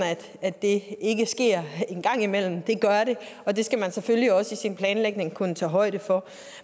at det ikke sker en gang imellem det gør det og det skal man selvfølgelig også i sin planlægning kunne tage højde for